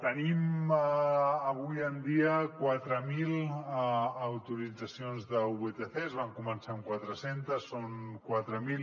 tenim avui en dia quatre mil autoritzacions de vtc van començar amb quatre centes són quatre mil